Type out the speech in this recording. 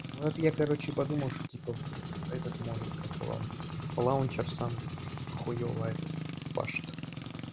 вот я короче подумал что типа этот может как его лаунчер сам хуёво этот пашет